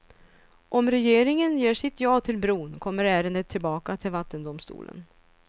Om regeringen ger sitt ja till bron kommer ärendet tillbaka till vattendomstolen.